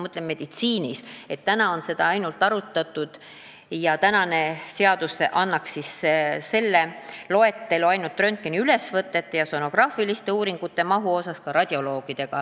Praegu on seda arutatud ainult radioloogidega ja seadus mainib selles loetelus ainult röntgeniülesvõtteid ja sonograafilisi uuringuid.